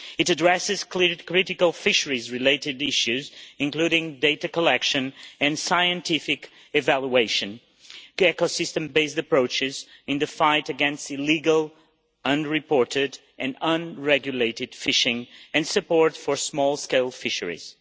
It addresses critical fisheries-related issues including data collection and scientific evaluation, the eco-system-based approaches in the fight against illegal, unreported and unregulated fishing and support for small-scale fisheries.